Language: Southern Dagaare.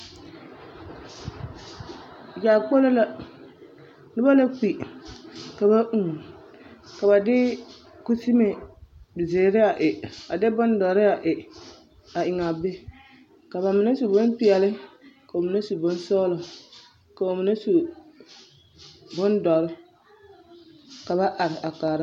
Yaakpolo la, noba la kpi ka ba ūū ka ba de kusibe zeere a e, a de bondɔre a e eŋaa be ka bamine su bompeɛle ka bamine su bonsɔgelɔ ka bamine su bondɔre ka ba are a kaara.